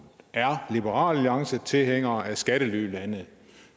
er liberal alliance tilhænger af skattelylande